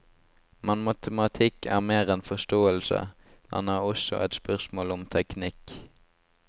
Men matematikk er mer enn forståelse, den er også et spørsmål om teknikk.